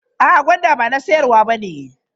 A'a, gwandan ba na siyarwa bane.